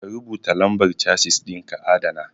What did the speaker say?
Ka rubuta lambar Chasis ɗin ka adana